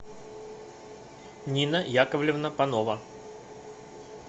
нина яковлевна панова